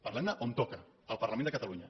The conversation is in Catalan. parlem ne on toca al parlament de catalunya